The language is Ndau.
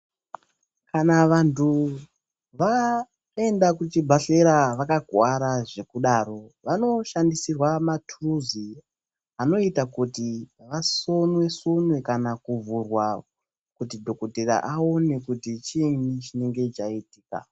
Kana vantu vaenda kuchibhedhlera vakakuwara zvekudaro vanoshandisirwa maturuzi anoita kuti vasonwe sonwe kana kuvhurwa kuti dhokotera aone kuti chiini chinenge chaitika